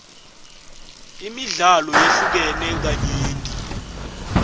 imidlalo yehlukene kanyenti